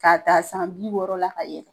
K'a ta san bi wɔɔrɔ la ka yɛlɛ.